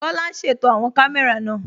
Kọla n ṣétò awọn kàmẹ̀rà náà